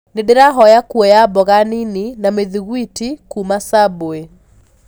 nindirahoya kũoya mboga nini na mithigwiti kũma subway